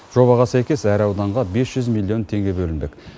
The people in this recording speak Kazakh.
жобаға сәйкес әр ауданға бес жүз миллион теңге бөлінбек